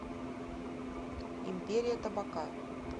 империя табака